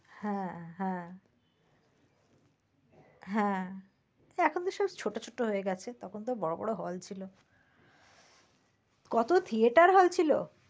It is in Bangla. হ্যাঁ হ্যাঁ হ্যাঁ এখন তো সব ছোট ছোট হয়ে গেছে। তখন তো বড় বড় hall ছিল। কত theater হয়ে ছিল।